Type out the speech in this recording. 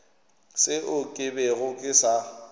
seo ke bego ke sa